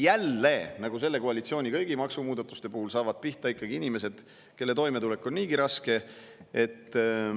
Jälle, nagu kõigi selle koalitsiooni maksumuudatuste puhul, saavad ikkagi pihta inimesed, kellel on niigi raske toime tulla.